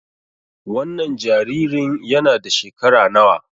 Wannan jaririn yana da shekara nawa?